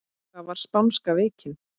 Hvað var spánska veikin?